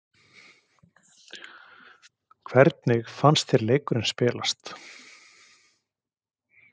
Hvernig fannst þér leikurinn spilast?